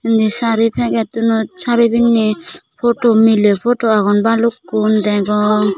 inni sari pegettunot sari pinney photo miley photo agon balukkun degong.